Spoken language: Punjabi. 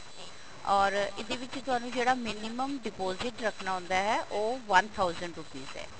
or ਇਹਦੇ ਵਿੱਚ ਤੁਹਾਨੂੰ ਜਿਹੜਾ minimum deposit ਰੱਖਣਾ ਹੁੰਦਾ ਹੈ ਉਹ one thousand rupees ਹੈ